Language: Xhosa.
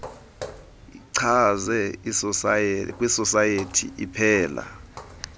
ichaze kwisosayethi iphela